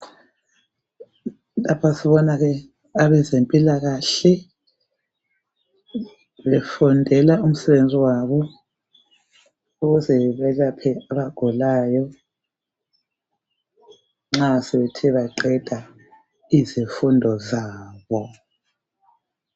Lapha sibona abezempilakahle befundela umsebenzi wabo ukuze nelaphe abagulayo nxa sebethe baqeda izifundo zabo.